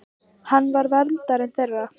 Hann var verndari þeirra.